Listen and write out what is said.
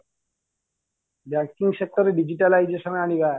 Banking sector ରେ digitalization ଆଣିବା